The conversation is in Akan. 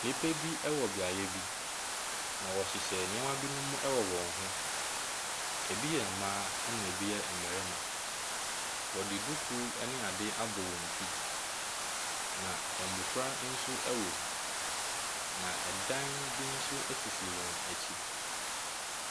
Nnipa bi wɔ beaeɛ bi, na wɔhyehyɛ nneɛma bi wɔ wɔn ho. Ebi yɛ mma na ebi yɛ mmarima. Wɔde duku ne ade abɔ wɔn ti na mmofra nso ɛwom. Na ɛdan bi nso sisi wɔn akyi.